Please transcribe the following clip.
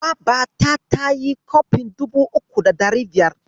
Babata ta sayi kofin dubu uku da ɗari biyar.